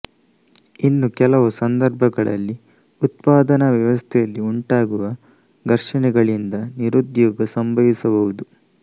ಇನ್ನು ಕೆಲವು ಸಂದರ್ಭಗಳಲ್ಲಿ ಉತ್ಪಾದನ ವ್ಯವಸ್ಥೆಯಲ್ಲಿ ಉಂಟಾಗುವ ಘರ್ಷಣೆಗಳಿಂದ ನಿರುದ್ಯೋಗ ಸಂಭವಿಸಬಹುದು